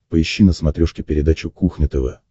поищи на смотрешке передачу кухня тв